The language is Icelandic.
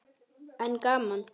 En gaman.